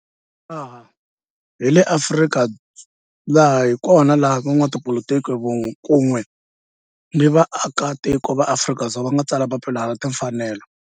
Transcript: Laha hi kona la van'watipolitiki kun'we ni vaaka tiko va Afrika-Dzonga va nga tsala papila ra timfanelo, Freedom Charter.